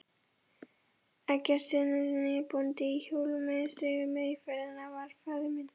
Eggertssyni bónda í Sólheimatungu, með í ferðinni var faðir minn